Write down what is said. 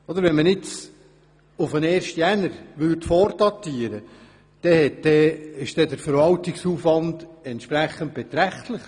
Würde man eine Vordatierung auf den 1. Januar vornehmen, wäre der Verwaltungsaufwand beträchtlich.